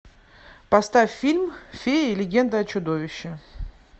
поставь фильм феи легенда о чудовище